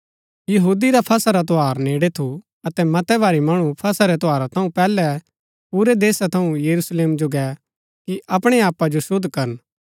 यहूदी रा फसह रा त्यौहार नेड़ै थू अतै मतै भारी मणु फसह रै त्यौहारा थऊँ पैहलै पूरै देशा थऊँ यरूशलेम जो गै कि अपणै आपा जो शुद्ध करन